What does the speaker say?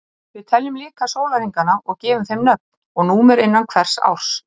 við teljum líka sólarhringana og gefum þeim nöfn og númer innan hvers árs